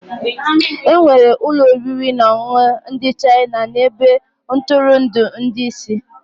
Enwere ụlọ oriri na ọṅụṅụ ndị China na ebe ntụrụndụ ndị isi.